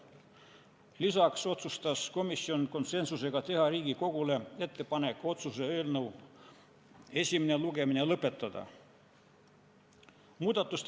Lisaks otsustas komisjon konsensusega teha Riigikogule ettepaneku otsuse eelnõu esimene lugemine lõpetada.